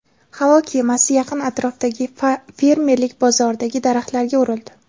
Havo kemasi yaqin atrofdagi fermerlik bozoridagi daraxtlarga urildi.